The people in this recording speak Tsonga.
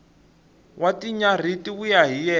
wa tinyarhi ti vuya hi